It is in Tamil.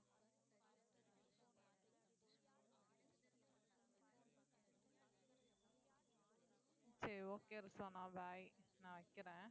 சரி okay bye நான் வைக்கிறேன்